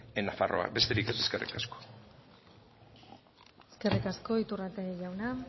en nafarroa besterik ez eskerrik asko eskerrik asko iturrate jauna